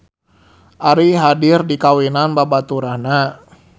Ari hadir di kawinan babaturanna